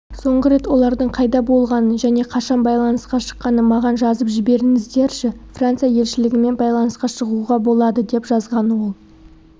соңғы рет олардың қайда болғанын және қашан байланысқа шыққанын маған жазып жіберіңіздерші франция елшілігімен байланысқа шығуға болады деп жазған ол